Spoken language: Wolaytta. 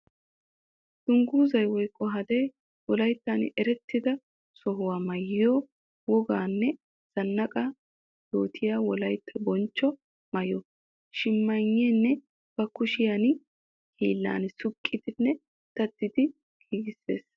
Dungguzzay woykko hadee wolayttan erettidda sohuwa maayiyo woganne zanaqa yootiya wolaytta bonchcho maayo. Shimmaynne ba kushe hiillan suuqidinne daddidi giigisees.